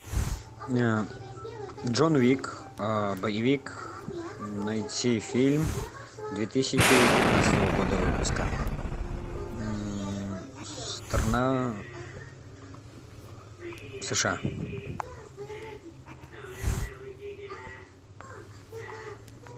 джон уик боевик найти фильм две тысячи пятнадцатого года выпуска страна сша